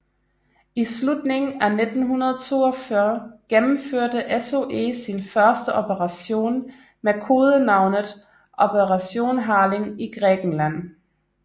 I slutningen af 1942 gennemførte SOE sin første operation med kodenavnet Operation Harling i Grækenland